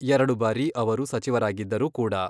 ಎರಡು ಬಾರಿ ಅವರು ಸಚಿವರಾಗಿದ್ದರು ಕೂಡ.